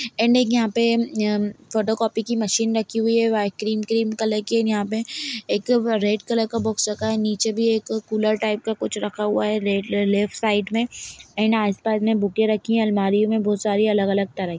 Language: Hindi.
एंड यहाँ पे एम् फोटो कॉपी की मशीन रखी हुई हैं वाइट क्रीम क्रीम कलर की एंड यहाँ पे रेड कलर का बॉक्स रखा हैं निचे भी कूलर टाइप का कुछ रखा हुआ हैं रेड लेफ्ट साइड में एंड आस-पास मे बुके रखी हैं अलमारियों में बहुत सारी अलग-अलग तरह--